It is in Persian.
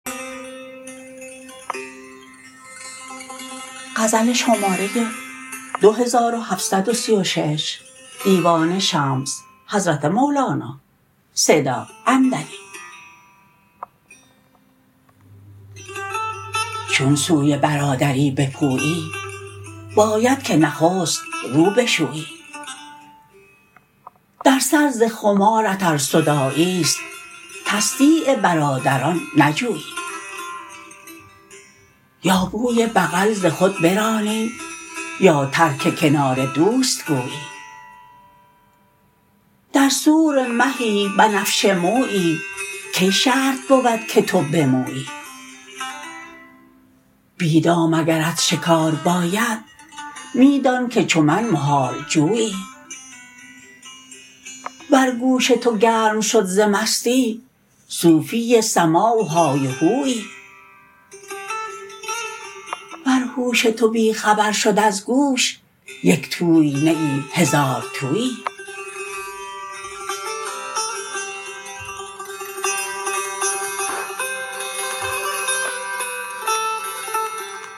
چون سوی برادری بپویی باید که نخست رو بشویی در سر ز خمارت ار صداعی است تصدیع برادران نجویی یا بوی بغل ز خود برانی یا ترک کنار دوست گویی در سور مهی بنفشه مویی کی شرط بود که تو بمویی بی دام اگرت شکار باید می دانک چو من محال جویی ور گوش تو گرم شد ز مستی صوفی سماع و های و هویی ور هوش تو بی خبر شد از گوش یک توی نه ای هزارتویی